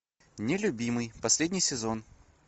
нелюбимый последний сезон